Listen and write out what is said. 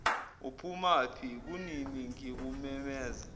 uphumaphi kunini ngikumemeza